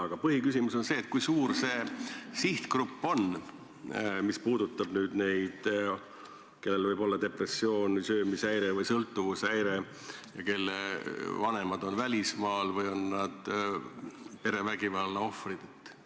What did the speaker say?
Aga minu põhiküsimus on see: kui suur on see sihtgrupp lapsi või noorukeid, kellel võib olla depressioon, söömishäire või sõltuvushäire ja kelle vanemad on välismaal või kes on perevägivalla ohvrid?